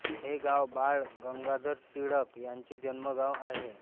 हे गाव बाळ गंगाधर टिळक यांचे जन्मगाव आहे